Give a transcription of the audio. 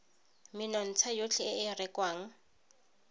menontsha yotlhe e e rekwang